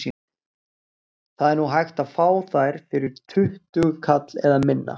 Það er nú hægt að fá þær fyrir tuttugu kall eða minna.